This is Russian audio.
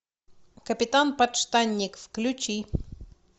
капитан подштанник включи